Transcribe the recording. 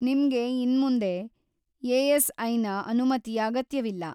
ನಿಮ್ಗೆ ಇನ್ಮುಂದೆ ಎ.ಎಸ್.ಐ.ನ ಅನುಮತಿಯ ಅಗತ್ಯವಿಲ್ಲ.